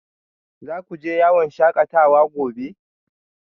Za ku je yawon shakatawa gobe?